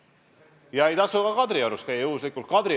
Ja ei tasu ka Kadriorus juhuslikult käia.